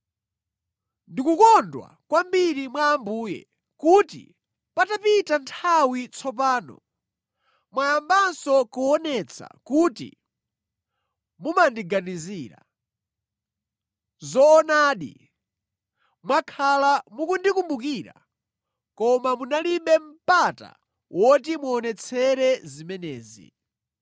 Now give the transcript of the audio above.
Ndikukondwa kwambiri mwa Ambuye kuti patapita nthawi tsopano mwayambanso kuonetsa kuti mumandiganizira. Zoonadi, mwakhala mukundikumbukira, koma munalibe mpata woti muonetsere zimenezi.